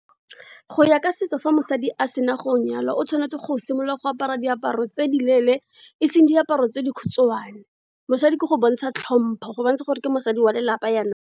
Go ya ka setso fa mosadi a sena go nyalwa o tshwanetse go simolola go apara diaparo tse di leele, eseng diaparo tse dikhutshwane. Mosadi ke go bontsha tlhompo, go bontsha gore ke mosadi wa lelapa jaanong.